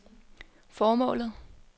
formålet